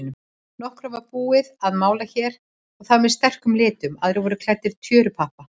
Nokkra var búið að mála hér og þar með sterkum litum, aðrir voru klæddir tjörupappa.